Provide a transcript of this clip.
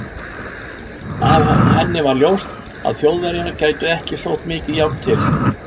Af henni var ljóst, að Þjóðverjar gætu ekki sótt mikið járn til